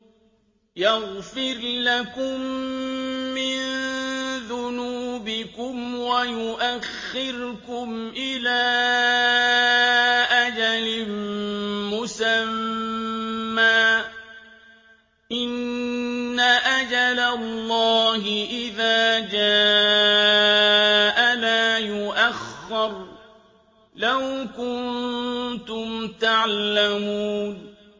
يَغْفِرْ لَكُم مِّن ذُنُوبِكُمْ وَيُؤَخِّرْكُمْ إِلَىٰ أَجَلٍ مُّسَمًّى ۚ إِنَّ أَجَلَ اللَّهِ إِذَا جَاءَ لَا يُؤَخَّرُ ۖ لَوْ كُنتُمْ تَعْلَمُونَ